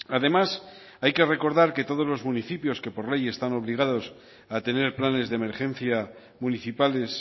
además hay que recordar que todos los municipios que por ley están obligados a tener planes de emergencia municipales